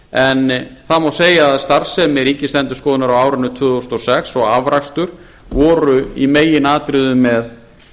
en það má segja að starfsemi ríkisendurskoðunar á árinu tvö þúsund og sex og afrakstur voru í meginatriðum með